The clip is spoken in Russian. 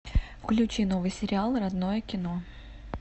включи новый сериал родное кино